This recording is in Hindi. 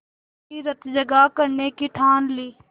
वहीं रतजगा करने की ठान ली